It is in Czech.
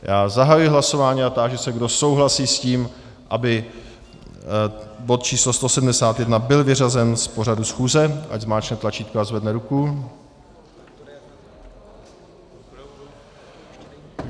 Já zahajuji hlasování a táži se, kdo souhlasí s tím, aby bod číslo 171 byl vyřazen z pořadu schůze, ať zmáčkne tlačítko a zvedne ruku.